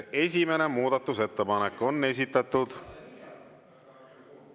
Esimene muudatusettepanek on esitatud …